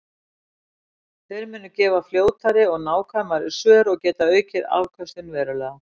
Þær munu gefa fljótari og nákvæmari svör og geta aukið afköstin verulega.